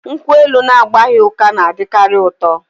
Nkwụ elu na-agbaghị ụka na-adịkarị ụtọ